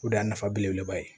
O de y'a nafa belebeleba ye